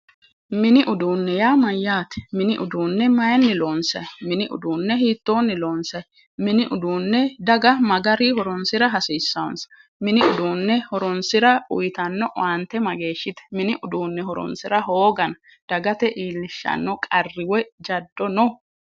Mini uduunne yaa mayyaate? mini uduunne maayiinni loonsayi? mini udunne hiittoonni loonsayi? mini uduunne daga ma garinni horonsira hasiissaansa? mini uduunne horonsira uuyitanno horo mageeshshite. mini uduunne horonsira hooga dagate iillishshanno qarri woyi jaddo no?